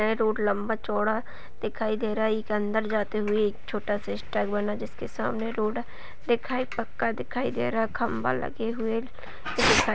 road लंबा चौड़ा दिखाई दे रहा है| एक अंदर जाते हुए एक छोटा सा जिसके सामने रोड दिखाई पक्का दिखाई दे रहा खंभा लगे हुए दिखा --